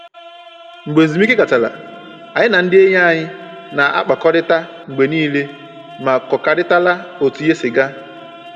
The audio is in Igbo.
Mgbe ezumike gachara, anyị na ndị enyi anyị na-akpakọrịta mgbe niile ma kọkarịtara otu ihe si gaa